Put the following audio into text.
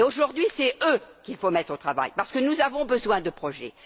Aujourd'hui, c'est eux qu'il faut mettre au travail, parce que nous avons besoin de projets.